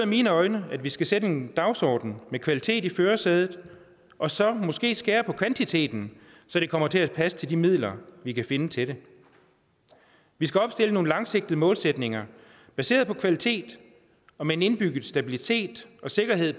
mine øjne at vi skal sætte en dagsorden med kvalitet i førersædet og så måske skære på kvantiteten så det kommer til at passe til de midler vi kan finde til det vi skal opstille nogle langsigtede målsætninger baseret på kvalitet og med en indbygget stabilitet og sikkerhed i